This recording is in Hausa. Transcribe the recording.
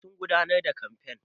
Eh sun gudanar da kamfen.